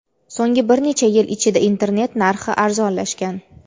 so‘nggi bir necha yil ichida internet narxi arzonlashgan.